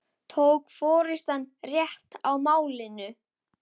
Tók forystan rétt á málinu?